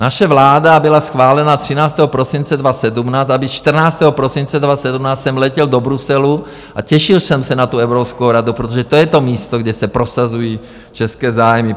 Naše vláda byla schválena 13. prosince 2017, aby 14. prosince 2017 jsem letěl do Bruselu a těšil jsem se na tu Evropskou radu, protože to je to místo, kde se prosazují české zájmy.